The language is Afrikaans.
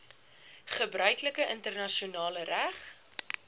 gebruiklike internasionale reg